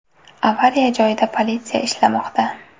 Avariya joyida politsiya ishlamoqda.